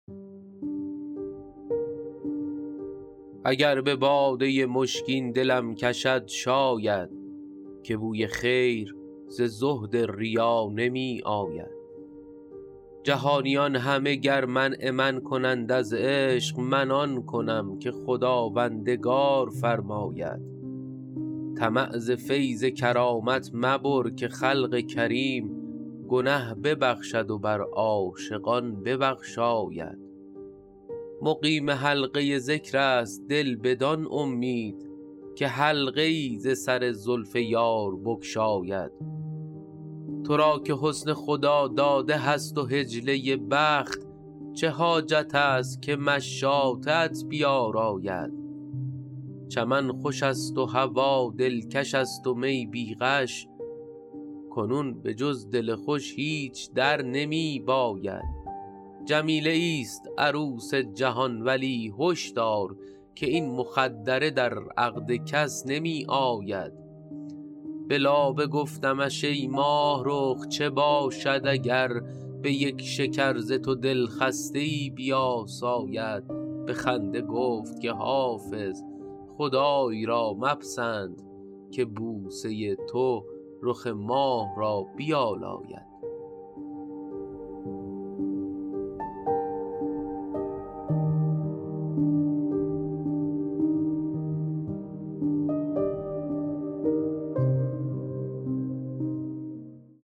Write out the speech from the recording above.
اگر به باده مشکین دلم کشد شاید که بوی خیر ز زهد ریا نمی آید جهانیان همه گر منع من کنند از عشق من آن کنم که خداوندگار فرماید طمع ز فیض کرامت مبر که خلق کریم گنه ببخشد و بر عاشقان ببخشاید مقیم حلقه ذکر است دل بدان امید که حلقه ای ز سر زلف یار بگشاید تو را که حسن خداداده هست و حجله بخت چه حاجت است که مشاطه ات بیاراید چمن خوش است و هوا دلکش است و می بی غش کنون به جز دل خوش هیچ در نمی باید جمیله ایست عروس جهان ولی هش دار که این مخدره در عقد کس نمی آید به لابه گفتمش ای ماهرخ چه باشد اگر به یک شکر ز تو دلخسته ای بیاساید به خنده گفت که حافظ خدای را مپسند که بوسه تو رخ ماه را بیالاید